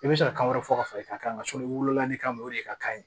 I bɛ se ka kan wɛrɛ fɔ ka fara i kan ka wolo ne kan o de ka ɲi